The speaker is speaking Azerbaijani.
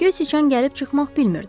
Göy siçan gəlib çıxmaq bilmirdi.